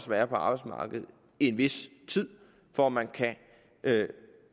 være på arbejdsmarkedet i en vis tid for at man kan